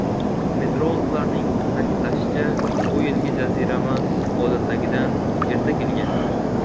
Meteorologlarning ta’kidlashicha, bu yilgi jazirama odatdagidan erta kelgan.